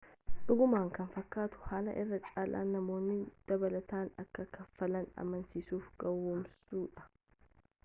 dhugumaanuu kan fakkaatu haala irra caalaan namoonni dabalataan akka kaffalan amansiisuuf gowoomsuu dha